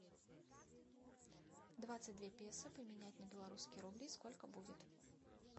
двадцать две песо поменять на белорусские рубли сколько будет